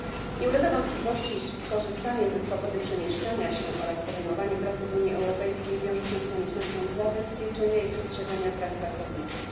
Nie ulega wątpliwości, iż korzystanie ze swobody przemieszczania się oraz podejmowanie pracy w Unii Europejskiej wiąże się z koniecznością zabezpieczenia i przestrzegania praw pracowniczych.